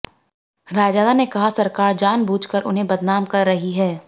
रायजादा ने कहा सरकार जानबुझ कर उन्हें बदनाम कर रही है